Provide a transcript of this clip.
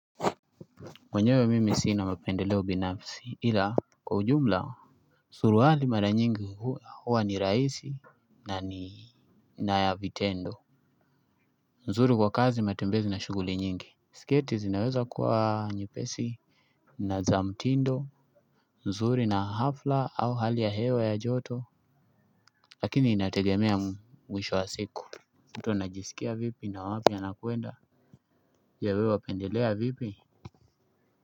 Mwenyewe mimi sina mapendeleo binafsi ila kwa ujumla. Suruali mara nyingi huwa ni raisi na ya vitendo. Nzuri kwa kazi ya matembezi na shuguli nyingi. Sketi zinaweza kuwa nyepesi. Na za mtindo nzuri na hafla au hali ya hewa ya joto. Lakini inategemea mwisho wa siku. Mtu anajisikia vipi na wapi anakwenda pia wewe wapendelea vipi.